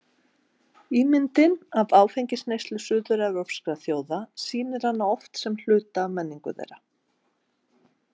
Ímyndin af áfengisneyslu suður-evrópskra þjóða sýnir hana oft sem hluta af menningu þeirra.